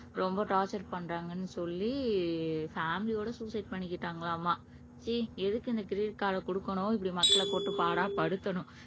ரொம்ப டார்ச்சர் பண்றாங்கன்னு சொல்லி பேமிலியோட சூசைட் பண்ணிக்கிட்டாங்களாமா ச்சீ எதுக்கு இந்த கிரெடிட் கார்ட கொடுக்கணும் இப்படி மக்களை போட்டு பாடாய் படுத்தணும்